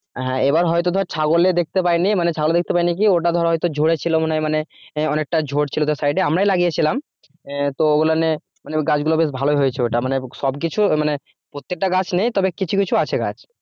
হ্যাঁ, এবার হয়তো ধর ছাগলে দেখতে পাইনি মানে ছাগলে দেখতে পাইনি কি ওটা ধর হয়ত ঝরেছিল মানে অনেকটা ঝরছিল তো সাইডে আমরাই লাগিয়েছিলাম আহ তো এগুলো নিয়ে মানে গাছগুলো সব ভালো ই হয়েছে ওটা মানে সবকিছু মানে প্রত্যেকটা গাছ নেই তবে কিছু কিছু আছে গাছ।